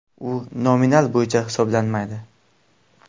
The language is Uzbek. U nominal bo‘yicha hisoblanmaydi.